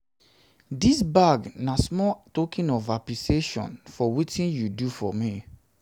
dis bag na small token of appreciation for wetin you do for you do for me